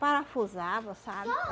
Parafusava, sabe?